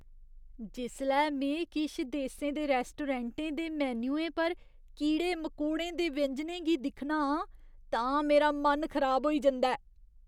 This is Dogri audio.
जिसलै में किश देसें च रैस्टोरैंटें दे मेन्युएं पर कीड़े मकोड़ें दे व्यंजनें गी दिक्खना आं, तां मेरा मन खराब होई जंदा ऐ।